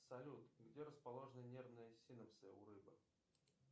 салют где расположены нервные синопсы у рыбы